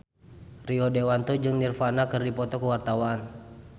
Rio Dewanto jeung Nirvana keur dipoto ku wartawan